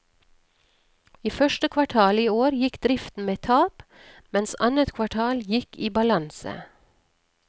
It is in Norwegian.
I første kvartal i år gikk driften med tap, mens annet kvartal gikk i balanse.